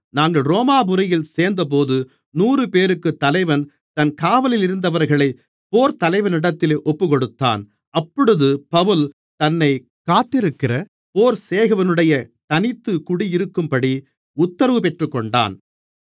நாங்கள் ரோமாபுரியில் சேர்ந்தபோது நூறுபேருக்குத் தலைவன் தன் காவலலிருந்தவர்களைப் போர்த்தலைவனிடத்தில் ஒப்புக்கொடுத்தான் அப்பொழுது பவுல் தன்னைக் காத்திருக்கிற போர்ச்சேவகனுடனே தனித்துக் குடியிருக்கும்படி உத்தரவு பெற்றுக்கொண்டான்